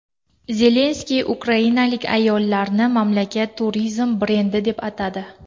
Zelenskiy ukrainalik ayollarni mamlakat turizm brendi deb atadi.